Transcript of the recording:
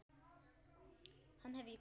Hann hef ég grafið.